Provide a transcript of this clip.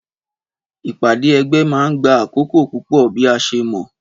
Ìpàdé ẹgbẹ́ ma gba àkókò púpò bi a ṣe mọ